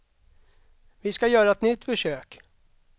Vi ska göra ett nytt försök.